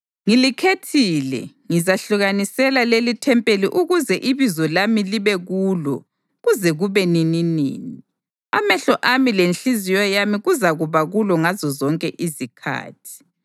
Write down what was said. Ngilikhethile ngizahlukanisela lelithempeli ukuze iBizo lami libe kulo kuze kube nininini. Amehlo ami lenhliziyo yami kuzakuba kulo ngazozonke izikhathi.